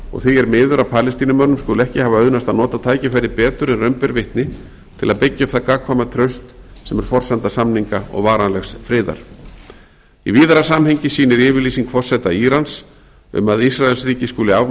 og því er miður að palestínumönnum skuli ekki hafa auðnast að nota tækifærið betur en raun ber vitni til að byggja upp það gagnkvæma traust sem er forsenda samninga og varanlegs friðar í víðara samhengi sýnir yfirlýsing forseta írans um að ísraelsríki skuli afmáð